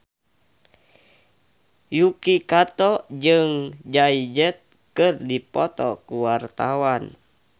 Yuki Kato jeung Jay Z keur dipoto ku wartawan